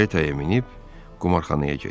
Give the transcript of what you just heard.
Karetaya minib qumarxanaya getdi.